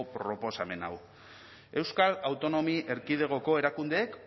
proposamen hau euskal autonomia erkidegoko erakundeek